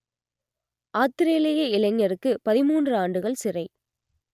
ஆத்திரேலிய இளைஞருக்கு பதிமூன்று ஆண்டுகள் சிறை